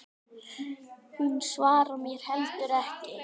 Hún svarar mér heldur ekki.